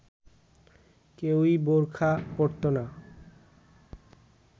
কেউই বোরখা পরতো না